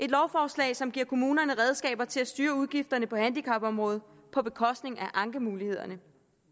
lovforslag som giver kommunerne redskaber til at styre udgifterne på handicapområdet på bekostning af ankemulighederne